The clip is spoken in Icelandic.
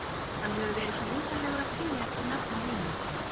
Hann hefur verið svo vinsamlegur að skilja eftir nafn og heimilisfang.